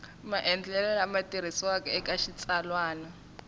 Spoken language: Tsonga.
maendlelo lama tirhisiwaka eka xitsalwana